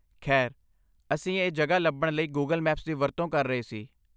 ਖੈਰ, ਅਸੀਂ ਇਹ ਜਗ੍ਹਾ ਲੱਭਣ ਲਈ ਗੂਗਲ ਮੈਪਸ ਦੀ ਵਰਤੋਂ ਕਰ ਰਹੇ ਸੀ।